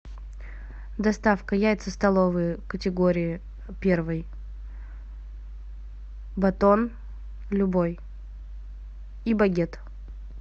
доставка яйца столовые категории первой батон любой и багет